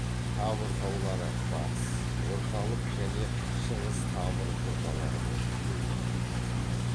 тавр таулары батыс орталық және шығыс тавр жоталары болып бөлінеді